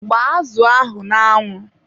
gbaa azụ ahụ n'anwu.